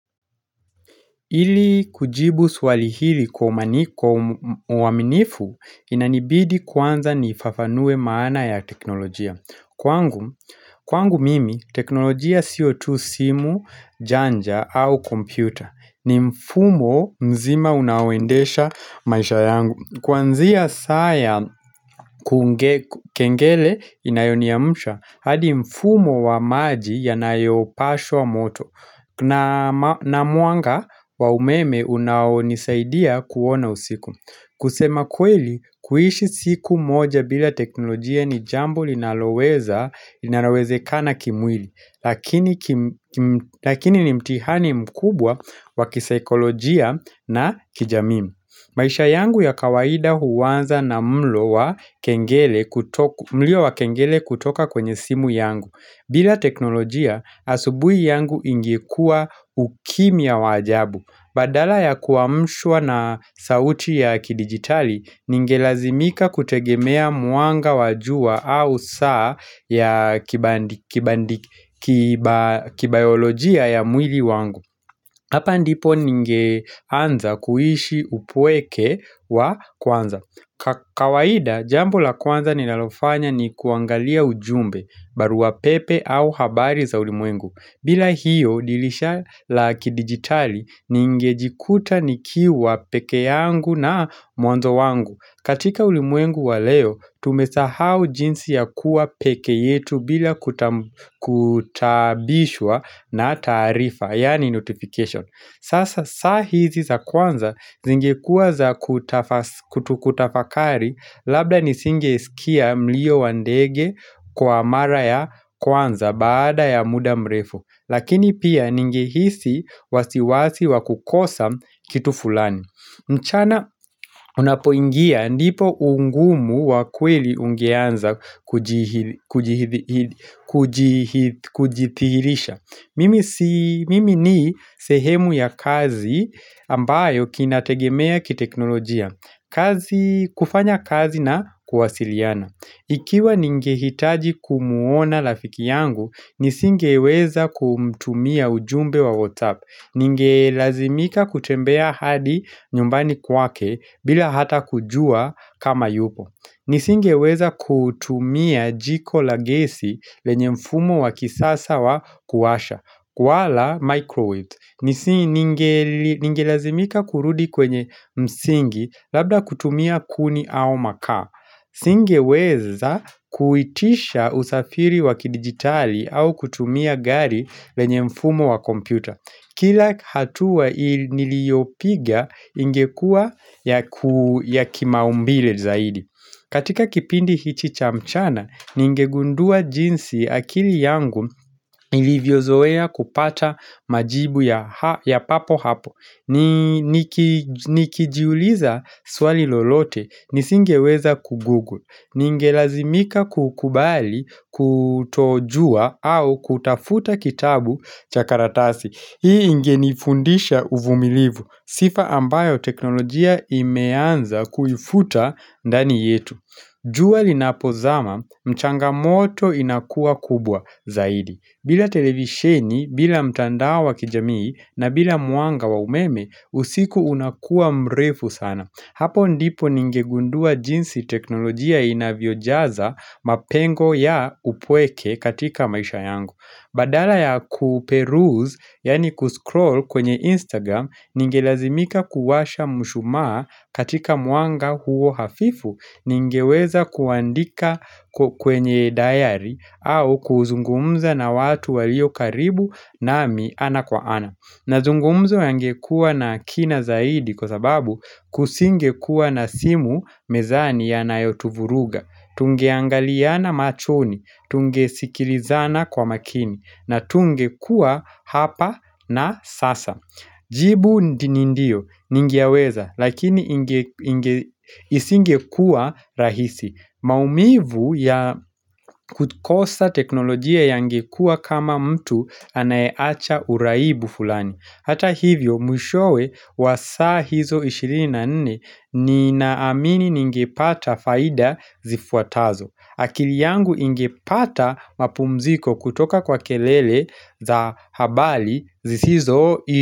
Hili kujibu swali hili kwa uwaminifu inanibidi kwanza nifafanue maana ya teknolojia Kwangu mimi teknolojia sio tu simu janja au kompyuta ni mfumo mzima unawendesha maisha yangu Kwanzia saa kengele inayoni amusha hadi mfumo wa maji yanayopashu wa moto na muanga wa umeme unaonisaidia kuona usiku kusema kweli, kuhishi siku moja bila teknolojia ni jambo linaloweze kana kimwili lakini Lakini ni mtihani mkubwa wa kisikolojia na kijamimi maisha yangu ya kawaida huwanza na mlo wa kengele kutoka kwenye simu yangu bila teknolojia, asubui yangu ingikuwa ukimya wajabu. Badala ya kuwamshwa na sauti ya kidigitali, ningelazimika kutegemea muanga wajua au saa ya kibayolojia ya mwili wangu. Hapa ndipo ninge anza kuishi upoweke wa kwanza. Kawaida, jambo la kwanza ninalofanya ni kuangalia ujumbe, baru wa pepe au habari za ulimwengu. Bila hiyo, dilisha la kidigitali, ninge jikuta nikiwa peke yangu na mwanzo wangu. Katika ulimwengu wa leo, tumesahau jinsi ya kuwa peke yetu bila kutabishwa na tarifa, yani notification. Sasa saa hizi za kwanza, zingekuwa za kutu kutafakari, labda nisinge isikia mlio wandege kwa mara ya kwanza baada ya muda mrefo. Lakini pia ninge hisi wasiwasi wakukosa kitu fulani. Mchana unapoingia ndipo ungumu wa kweli ungeanza kujithihilisha Mimi ni sehemu ya kazi ambayo kinategemea ki teknolojia kufanya kazi na kuwasiliana Ikiwa ninge hitaji kumuona lafiki yangu Nisingeweza kumtumia ujumbe wa WhatsApp Ningelazimika kutembea hadi nyumbani kwake bila hata kujua kama yupo Nisingeweza kutumia jiko la gesi lenye mfumo wa kisasa wa kuwasha waala microwave Ningelazimika kurudi kwenye msingi labda kutumia kuni au makaa Nisingeweza kuitisha usafiri waki digitali au kutumia gari lenye mfumo wa kompyuta Kila hatua niliyopiga ingekua ya kimaumbile zaidi katika kipindi hichi cha mchana, ninge gundua jinsi akili yangu ilivyozoea kupata majibu ya papo hapo Nikijiuliza swali lolote, nisingeweza kugoogle Ninge lazimika kukubali kutojua au kutafuta kitabu chakaratasi Hii ingeni fundisha uvumilivu, sifa ambayo teknolojia imeanza kuifuta ndani yetu. Juali na pozama, mchanga moto inakua kubwa zaidi. Bila televisheni, bila mtandao wa kijamii, na bila muanga wa umeme, usiku unakua mrefu sana. Hapo ndipo ningegundua jinsi teknolojia inavyojaza mapengo ya upweke katika maisha yangu. Badala ya kuperuzi, yani kuscroll kwenye Instagram, ningelazimika kuwasha mshumaa katika muanga huo hafifu, ningeweza kuandika kwenye dayari au kuzungumza na watu walio karibu na mi ana kwa ana. Na zungumzo yangekua na kina zaidi kwa sababu kusingekua na simu mezani ya nayotuvuruga, tungeangaliana machoni, tunge sikilizana kwa makini, na tungekua hapa na sasa. Jibu nindio ningiaweza lakini isingekua rahisi maumivu ya kukosa teknolojia yangekua kama mtu anayeacha uraibu fulani Hata hivyo mwishowe wasa hizo 24 nina amini ningepata faida zifuatazo akili yangu ingepata mapumziko kwa kelele za habari zisizo.